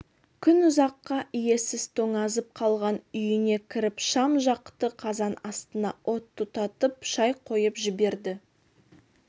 күн ұзаққа иесіз тоңазып қалған үйіне кіріп шам жақты қазан астына от тұтатып шай қойып жіберді